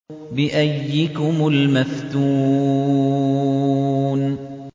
بِأَييِّكُمُ الْمَفْتُونُ